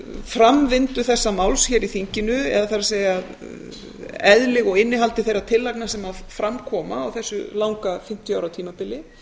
framvinda þessa máls hér í þinginu eða það er eðli og innihald þeirra tillagna sem fram koma á þessu langa fimmtíu ára tímabili